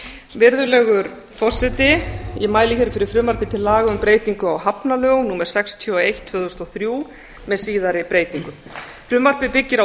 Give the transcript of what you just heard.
virðulegur forseti ég mæli hér fyrir frumvarpi til laga um breytingu á hafnalögum númer sextíu og eitt tvö þúsund og þrjú með síðari breytingum frumvarpið byggist á